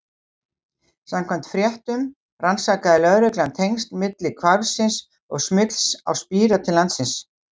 Samkvæmt fréttum rannsakaði lögreglan tengsl milli hvarfsins og smygls á spíra til landsins.